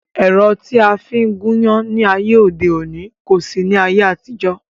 Ẹ̀rọ tí a fi ń gún iyán ní ayé òde òní kò sí ní ayé àtijọ́